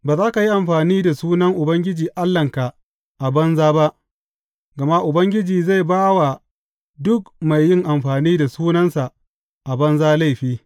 Ba za ka yi amfani da sunan Ubangiji Allahnka a banza ba, gama Ubangiji zai ba wa duk mai yin amfani da sunansa a banza laifi.